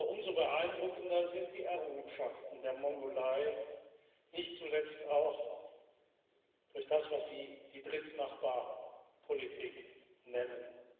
Umso beeindruckender sind die Errungenschaften der Mongolei, nicht zuletzt auch durch das, was Sie die Drittnachbarpolitik nennen.